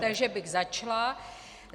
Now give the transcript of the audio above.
Takže bych začala.